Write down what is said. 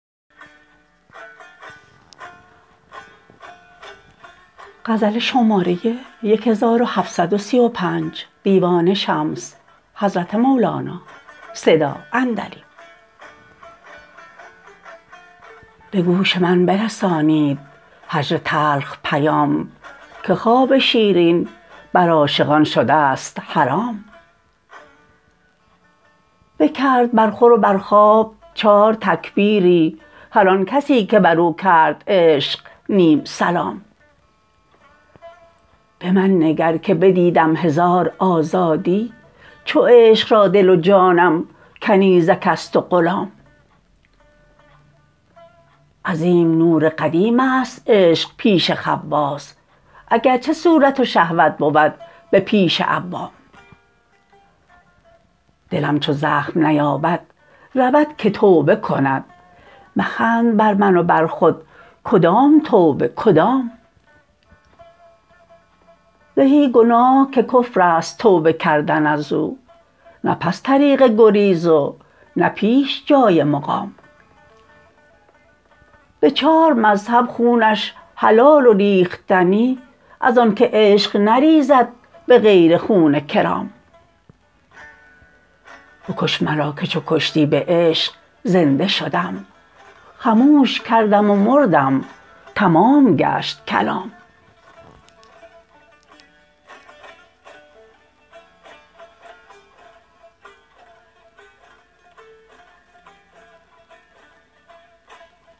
به گوش من برسانید هجر تلخ پیام که خواب شیرین بر عاشقان شده ست حرام بکرد بر خور و بر خواب چارتکبیری هر آن کسی که بر او کرد عشق نیم سلام به من نگر که بدیدم هزار آزادی چو عشق را دل و جانم کنیزک است و غلام عظیم نور قدیم است عشق پیش خواص اگر چه صورت و شهوت بود به پیش عوام دلم چو زخم نیابد رود که توبه کند مخند بر من و بر خود کدام توبه کدام زهی گناه که کفر است توبه کردن از او نه پس طریق گریز و نه پیش جای مقام به چار مذهب خونش حلال و ریختنی از آنک عشق نریزد به غیر خون کرام بکش مرا که چو کشتی به عشق زنده شدم خموش کردم و مردم تمام گشت کلام